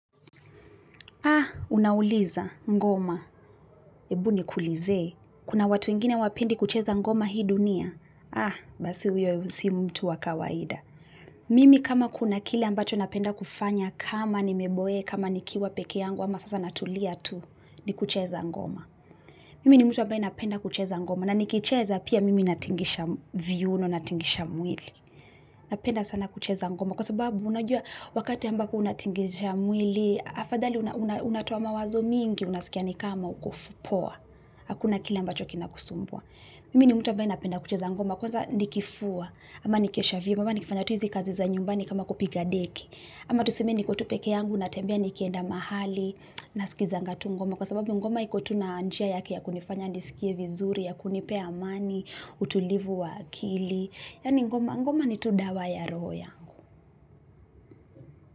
Unauliza ngoma, hebu nikulizee. Kuna watu ingine hawapendi kucheza ngoma hii dunia? Basi huyo si mtu wa kawaida. Mimi kama kuna kile ambacho napenda kufanya kama nimeboeka, ama nikiwa peke yangu, ama sasa natulia tu ni kucheza ngoma. Mimi ni mtu ambae ninapenda kucheza ngoma, na nikicheza pia mimi natingisha viuno, natingisha mwili. Napenda sana kucheza ngoma, kwa sababu unajua wakati ambapo unatingisha mwili, afadhali unatoa mawazo mingi, unaskia ni kama uko poa. Hakuna kile ambacho kinakusumbua. Mimi ni mtu ambaye ninapenda kucheza ngoma, kwaza nikifua, ama nikiosha vyombo, ama nikifanya tu hizi kazi za nyumbani kama kupiga deki. Ama tuseme niko tu peke yangu, natembea nikienda mahali, nasikizanga tu ngoma. Kwa sababu ngoma ikotu na njia yake ya kunifanya nisikie vizuri, ya kunipea amani, utulivu wa akili. Yani ngoma, ngoma ni tu dawa ya roho yangu.